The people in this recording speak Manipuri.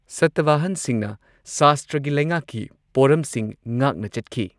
ꯁꯇꯚꯥꯍꯟꯁꯤꯡꯅ ꯁꯥꯁꯇ꯭ꯔꯒꯤ ꯂꯩꯉꯥꯛꯀꯤ ꯄꯣꯔꯝꯁꯤꯡ ꯉꯥꯛꯅ ꯆꯠꯈꯤ꯫